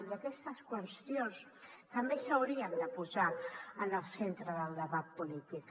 i aquestes qüestions també s’haurien de posar en el centre del debat polític